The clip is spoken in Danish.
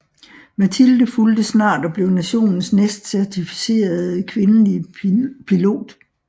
Matilde fulgte snart og blev nationens næstcertificerede kvindelige pilot